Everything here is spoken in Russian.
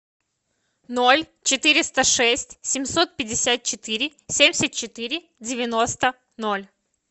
ноль четыреста шесть семьсот пятьдесят четыре семьдесят четыре девяносто ноль